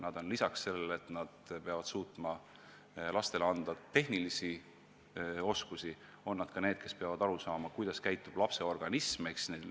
Nad on lisaks sellele, et nad peavad suutma meie lastele anda tehnilisi oskusi, ka inimesed, kes peavad aru saama, kuidas toimib lapse organism.